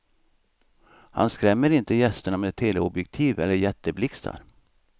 Han skrämmer inte gästerna med teleobjektiv eller jätteblixtar.